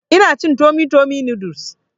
Ina cin tummy tummy noodles